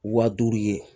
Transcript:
Wa duuru ye